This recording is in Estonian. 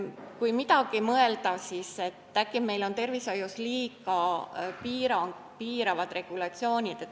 Kui midagi veel mõelda, siis äkki on meil tervishoius liiga piiravad regulatsioonid.